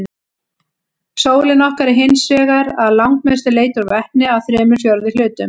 Sólin okkar er hins vegar að langmestu leyti úr vetni, að þremur fjórðu hlutum.